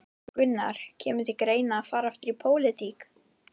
Gunnar: Kemur til greina að fara aftur í pólitík?